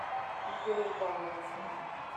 игорем павловичем